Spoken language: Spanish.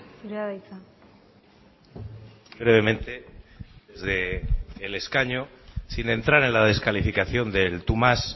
zurea da hitza brevemente desde el escaño sin entrar en la descalificación del tú más